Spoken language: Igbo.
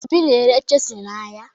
Obi na-ere chisụl n'ahịa